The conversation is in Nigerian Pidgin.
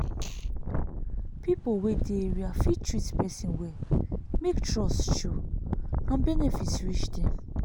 people wey dey area fit treat person well make trust show and benefit reach dem.